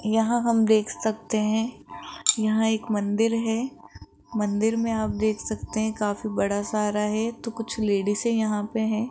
यहां हम देख सकते हैं यहां एक मंदिर है मंदिर में आप देख सकते हैं काफी बड़ा सारा है तो कुछ लेडीसें यहां पर हैं।